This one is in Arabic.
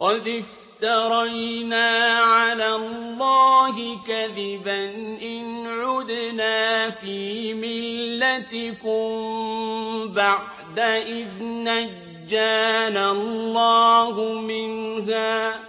قَدِ افْتَرَيْنَا عَلَى اللَّهِ كَذِبًا إِنْ عُدْنَا فِي مِلَّتِكُم بَعْدَ إِذْ نَجَّانَا اللَّهُ مِنْهَا ۚ